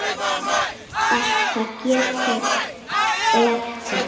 Þetta gekk eftir.